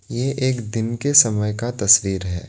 ये एक दिन के समय का तस्वीर है।